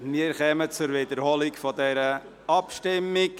Wir wiederholen die Abstimmung.